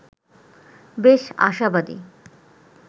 বেশ আশাবাদী